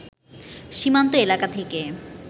সীমান্ত এলাকা থেকে